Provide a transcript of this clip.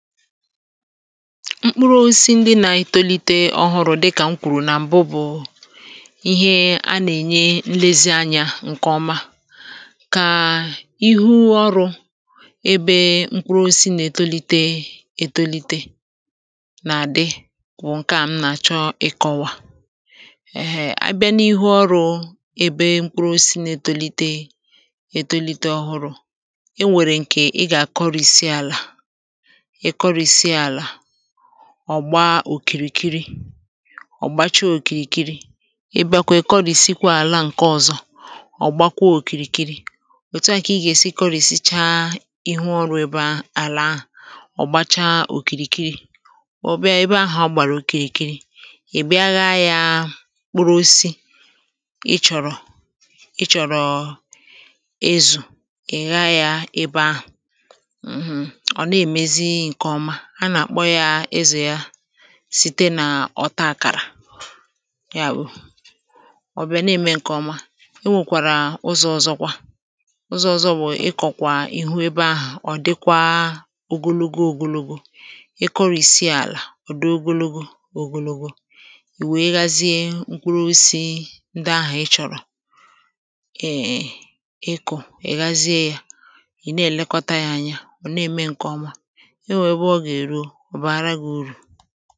mkpụrụ osisi ndi na-ètolite ọhụrụ̇ dịkà m kwùrù nà m̀bụ bụ̀ ihe a nà-ènye nlezi anyȧ ǹkè ọma kà ihu ọrụ̇ ebe mkpụrụ osisi nà-ètolite ètolite nà-àdị wụ̀ ǹke à m nà-àchọ ị̇kọ̇wà ehe a bịa n’ihu ọrụ̇ ebe mkpụrụ osisi nà-ètolite ètolite ọhụrụ̇ e nwèrè ǹkè ị gà-àkọrìsi àlà ọ̀ gbaa òkìrìkiri ọ̀ gbachaa òkìrìkiri ebe à kà èkọrìsi kwȧ àla ǹke ọ̇zọ̇ ọ̀ gbakwa òkìrìkiri òtu à kà ị gà-èsi kọrìsichaa ihu ọrụ̇ ebe àlà ahụ̀ ọ̀ gbachaa òkìrìkiri ọ̀ bịa ebe ahụ̀ ọ gbàrà òkìrìkiri ị̀ bịa ghȧ ya kpuru osi ị chọ̀rọ̀ ị chọ̀rọ̀ ezù ị̀ ghȧ ya ebe ahụ̀ site nà ọ̀ taa kàrà ọ̀ bịa nà-ème ǹkè ọma e nwèkwàrà ụzọ̇ ọ̀zọ kwa ụzọ̇ ọ̀ bụ̀ ikọ̀ kwà ìhụ ebe ahụ̀ ọ̀ dịkwa ogologo ogologo ị kụrụ̇isi àlà ọ̀ dị ogologo ogologo ì wèe ghazie mkpụrụ ose ndị ahụ̀ ị chọ̀rọ̀ eė ịkụ̀ ị̀ ghazie ya ị̀ na-èlekọta ya anya ọ̀ na-ème ǹkè ọma ọ bụ̀ hara gị̇ irù